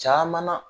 Caman na